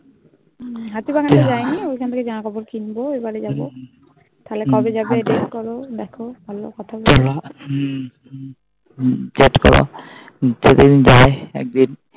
হাতিবাগান তা যাইনি ওখান থেকে জামাকাপড় কিনবো এবার যাবো তাহলে কবে যাবে ভাব দেখো ডেট করো বোলো হু ডেট করি যদি আমি যায়